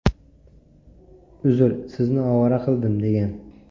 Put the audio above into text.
Uzr, sizni ovora qildim”, degan.